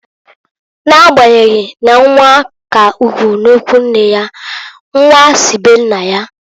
N'agbanyeghị na nwa k'ugwu n'ikwunne ya, nnwa si be nna ya.